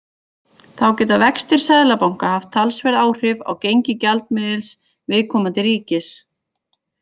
Þá geta vextir seðlabanka haft talsverð áhrif á gengi gjaldmiðils viðkomandi ríkis.